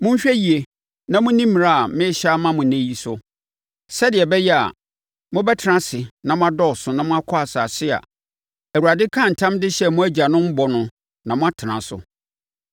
Monhwɛ yie na monni mmara a merehyɛ ama mo ɛnnɛ yi so, sɛdeɛ ɛbɛyɛ a, mobɛtena ase na moadɔɔso na moakɔ asase a Awurade kaa ntam de hyɛɛ mo agyanom bɔ no na moatena so.